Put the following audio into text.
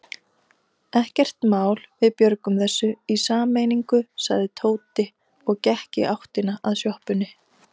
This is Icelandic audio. Ekkert mál, við björgum þessu í sameiningu sagði Tóti og gekk í áttina að sjoppunni.